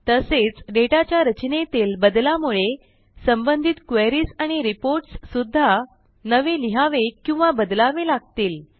तसेच डेटाच्या रचनेतील बदलामुळे संबंधित क्वेरीज आणि रिपोर्ट्स सुद्धा नवे लिहावे किंवा बदलावे लागतील